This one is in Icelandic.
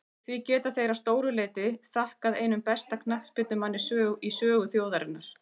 Því geta þeir að stóru leyti þakkað einum besta knattspyrnumanni í sögu þjóðarinnar.